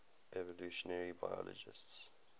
evolutionary biologists